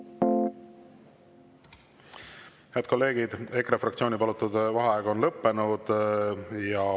Head kolleegid, EKRE fraktsiooni palutud vaheaeg on lõppenud.